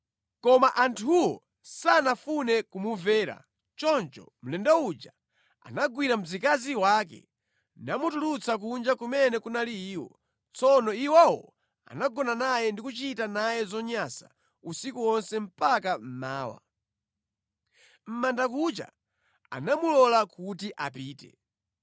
Koma anthuwo sanafune kumumvera. Choncho mlendo uja anagwira mzikazi wake namutulutsa kuja kumene kunali iwo. Tsono iwowo anagona naye ndi kuchita naye zonyansa usiku wonse mpaka mmawa. Mʼbandakucha anamulola kuti apite.